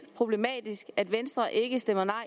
problematisk at venstre ikke stemmer nej